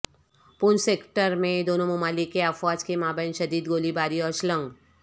پونچھ sector میں دونوں ممالک کے افواج کے مابین شدید گولی باری اور شلنگ